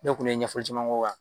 Ne kɔni ye ɲɛfɔli caman k'o kan